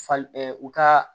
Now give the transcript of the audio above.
Fali u ka